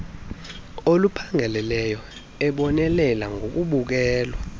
oluphangaleleyo ebonelela ngokubukelwa